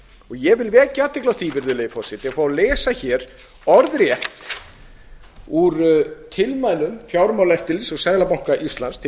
ég vil vekja athygli á því og fá að lesa orðrétt úr tilmælum fjármálaeftirlits og seðlabanka íslands til